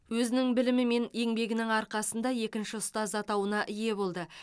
өзінің білімі мен еңбегінің арқасында екінші ұстаз атауына ие болды